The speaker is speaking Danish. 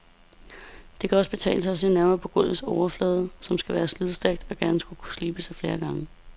Det kan også betale sig at se nærmere på gulvets overflade, som skal være slidstærk og gerne skulle kunne slibes flere gange.